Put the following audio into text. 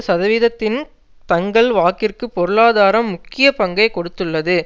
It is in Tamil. சதவிகிதத்தின் தங்கள் வாக்கிற்கு பொருளாதாரம் முக்கிய பங்கை கொடுத்துள்ளது